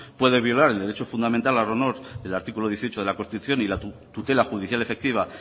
puede violar el derecho fundamental al honor el artículo dieciocho de la constitución y la tutela judicial efectiva